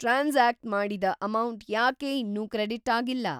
Transact ಮಾಡಿದ amount ಯಾಕೆ ಇನ್ನೂ ಕ್ರೆಡಿಟ್‌ ಆಗಿಲ್ಲ?